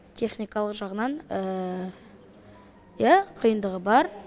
техникалық жағынан иә қиындығы бар